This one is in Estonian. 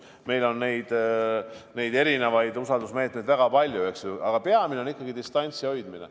Meil on usaldusmeetmeid väga palju, eks, aga peamine on ikkagi distantsi hoidmine.